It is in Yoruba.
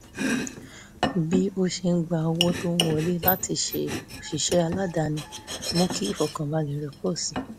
bí ó ṣe ń gba owó tó ń wọlé láti ṣe òṣìṣẹ́ aládàáni mú kí ìfọkànbalẹ̀ rẹ̀ pọ̀ sí i